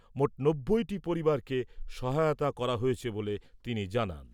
মোট নব্বইটি পরিবারকে সহায়তা করা হয়েছে বলে তিনি জানান ।